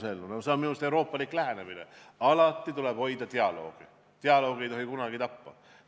See on minu meelest euroopalik lähenemine: alati tuleb hoida dialoogi, dialoogi ei tohi kunagi tappa.